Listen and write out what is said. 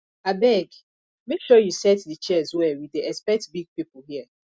abeg make sure you set the chairs well we dey expect big people here